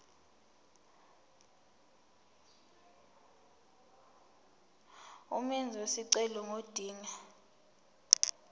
umenzi wesicelo ngodinga